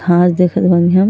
घास देखल होइन।